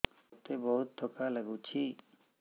ମୋତେ ବହୁତ୍ ଥକା ଲାଗୁଛି